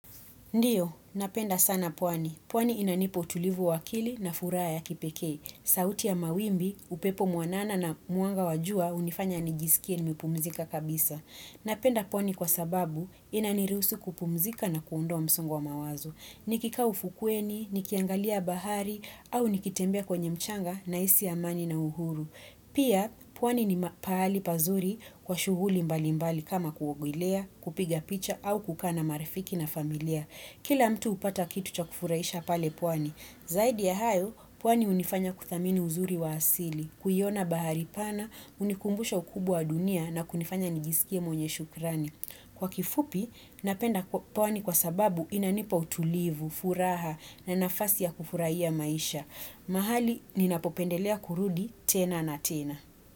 Ndiyo, napenda sana pwani. Pwani inanipa utulivu wa akili na furaha ya kipekee. Sauti ya mawimbi, upepo mwanana na mwanga wa jua hunifanya nijisikie nimepumzika kabisa. Napenda pwani kwa sababu inanirusu kupumzika na kuondoa msongo wa mawazo. Nikikaa ufukweni, nikiangalia bahari, au nikitembea kwenye mchanga nahisi amani na uhuru. Pia, pwani ni pahali pazuri kwa shughuli mbalimbali kama kuogelea, kupiga picha au kukaa na marifiki na familia. Kila mtu hupata kitu cha kufurahisha pale pwani. Zaidi ya hayo, pwani hunifanya kuthamini uzuri wa asili, kuiona bahari pana, hunikumbusha ukubwa wa dunia na kunifanya nijisikie mwenye shukrani. Kwa kifupi, napenda pwani kwa sababu inanipa utulivu, furaha na nafasi ya kufurahia maisha. Mahali, ninapopendelea kurudi tena na tena.